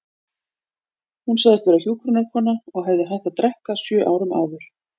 Hún sagðist vera hjúkrunarkona og hefði hætt að drekka sjö árum áður.